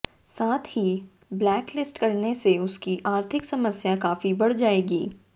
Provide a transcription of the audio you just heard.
साथ ही ब्लैकलिस्ट करने से उसकी आर्थिक समस्या काफी बढ़ जाएगी